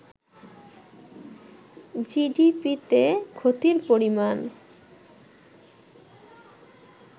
জিডিপিতে ক্ষতির পরিমাণ